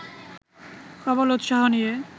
প্রবল উৎসাহ নিয়ে